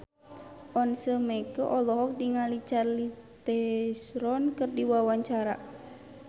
Once Mekel olohok ningali Charlize Theron keur diwawancara